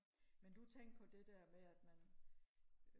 men du tænkte på det der med at man